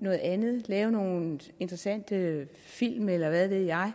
og andet at lave nogle interessante film eller hvad ved jeg